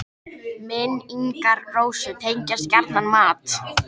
Minn- ingar Rósu tengjast gjarnan mat.